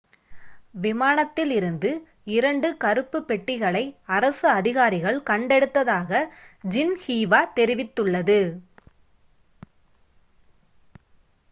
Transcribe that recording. விமானத்தில் இருந்து இரண்டு கருப்பு பெட்டிகளை' அரசு அதிகாரிகள் கண்டெடுத்ததாக ஜின்ஹீவா தெரிவித்துள்ளது